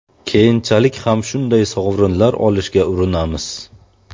Keyinchalik ham shunday sovrinlar olishga urinamiz.